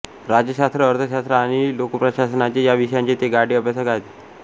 राज्यशास्त्र अर्थशास्त्र आणि लोकप्रशासनाचे या विषयांचे ते गाढे अभ्यासक आहेत